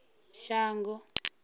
shango